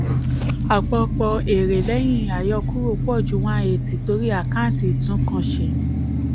àpapọ̀ èrè lẹ́yìn àyọkúrò pọ̀ ju one eighty torí àkáǹtì ìtúnǹkanṣe.